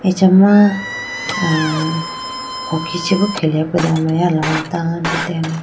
Achama ah hockey chibo kelebudo meya alombro mai tando dene.